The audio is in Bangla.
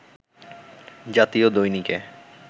জাতীয় দৈনিকে